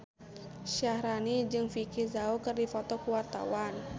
Syaharani jeung Vicki Zao keur dipoto ku wartawan